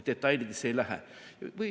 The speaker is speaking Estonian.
Detailidesse ei lähe.